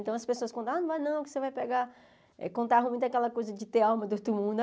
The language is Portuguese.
Então, as pessoas con, não vai não, que você vai pegar... Contavam muito aquela coisa de ter alma do outro mundo.